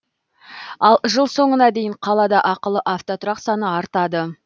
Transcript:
ал жыл соңына дейін қалада ақылы автотұрақ саны артады